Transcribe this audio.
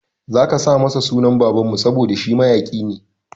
Zaka sa masa sunan baban mu saboda shi mayaƙi ne